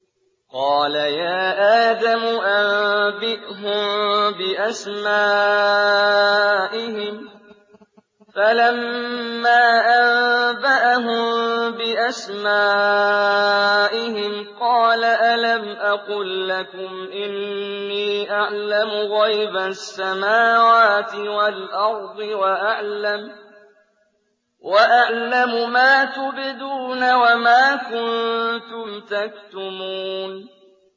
قَالَ يَا آدَمُ أَنبِئْهُم بِأَسْمَائِهِمْ ۖ فَلَمَّا أَنبَأَهُم بِأَسْمَائِهِمْ قَالَ أَلَمْ أَقُل لَّكُمْ إِنِّي أَعْلَمُ غَيْبَ السَّمَاوَاتِ وَالْأَرْضِ وَأَعْلَمُ مَا تُبْدُونَ وَمَا كُنتُمْ تَكْتُمُونَ